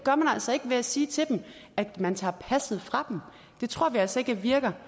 altså ikke ved at sige til dem at man tager passet fra dem det tror vi altså ikke virker